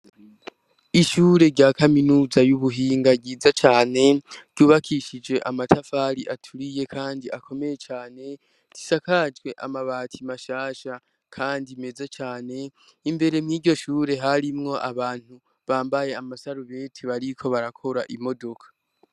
Ishure rya kaminuza y'ubuhinga ryiza cane ryubakishije amatafari aturiye, kandi akomeye cane zishakajwe amabati mashasha, kandi meze cane imbere mw'iryo shure harimwo abantu bambaye amasarubeti bariko barakora imodoka.